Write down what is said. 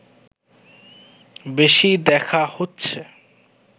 বেশি দেখা হচ্ছে